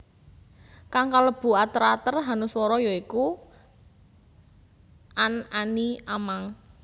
Kang kalebu ater ater hanuswara ya iku an any am ang